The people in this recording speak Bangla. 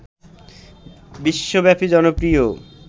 বিশ্বব্যাপী জনপ্রিয়